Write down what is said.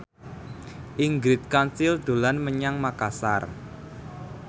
Ingrid Kansil dolan menyang Makasar